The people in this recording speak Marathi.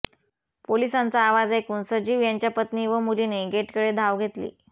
पोलिसांचा आवाज ऐकून सजीव यांच्या पत्नी व मुलीने गेटकडे धाव घेतली